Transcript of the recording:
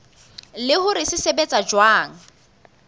le hore se sebetsa jwang